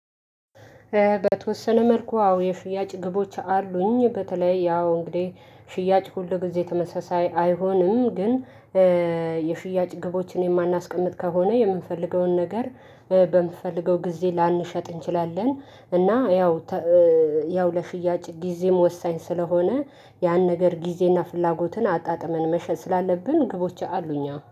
በተወሰነ መልኩ አዎ የሽያጭ ግቦች አሉኝ በተለይ ያው እንግዲህ ሽያጭ ሁል ጊዜ ተመሳሳይ አይሆንም። ግን ኧ የሽያጭ ግቦችን የማናስቀምጥ ከሆነ የምንፈልገውን ነገር በምንፈልገው ጊዜ ላንሸጥ እንችላለን። እና ያው ተ ኧ ያው ለሽያጭ ጊዜም ወሳኝ ስለሆነ ያን ነገር ጊዜና ፍላጎትን አጣጥመን መሸጥ ስላለብን ግቦች አሉኛ